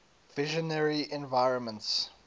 visionary environments